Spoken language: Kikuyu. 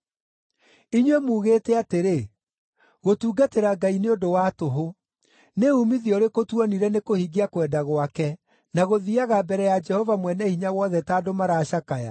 “Inyuĩ muugĩte atĩrĩ, ‘Gũtungatĩra Ngai nĩ ũndũ wa tũhũ. Nĩ uumithio ũrĩkũ tuonire nĩkũhingia kwenda gwake, na gũthiiaga mbere ya Jehova Mwene-Hinya-Wothe ta andũ maracakaya?